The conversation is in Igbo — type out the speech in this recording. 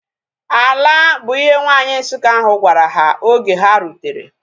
"Ala" bu ihe nwanyi Nsukka ahu gwara ha oge ha rutere